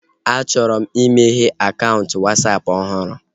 A chọrọ m imeghe akaụntụ Wasapụ ọhụrụ